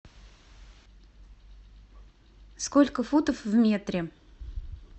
сколько футов в метре